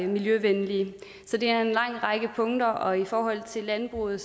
miljøvenlige så det er en lang række punkter og i forhold til landbruget